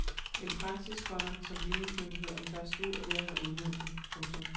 En praksis, komma som ligningsmyndighederne først nu er ved at have udmøntet. punktum